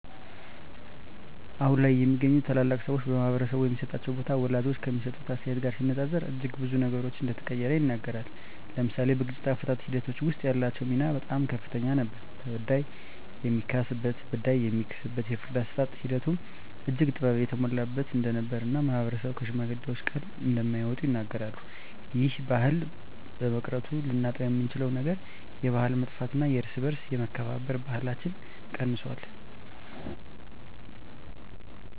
አሁን ላይ የሚገኙ ታላላቅ ሰወች በማህበረሰቡ የሚሰጣቸው ቦታ ወላጆች ከሚሰጡት አስተያየት ጋር ሲነፃፀር እጅግ ብዙ ነገሮች እንደተቀየረ ይናገራሉ። ለምሳሌ በግጭት አፈታት ሒደቶች ወስጥ ያላቸው ሚና በጣም ከፍተኛ ነበር ተበዳይ የሚካስበት በዳይ የሚክስበት የፍርድ አሰጣጥ ሒደቱም እጅግ ጥበብ የተሞላበት እንደነበር እና ማህበረሰብም ከሽማግሌወች ቃል እንደማይወጡ ይናገራሉ። ይህ ባህል በመቅረቱ ልናጣውየምንችለው ነገር የባህል መጥፍት እና የእርስ በእርስ የመከባበር ባህለች ቀንሶል።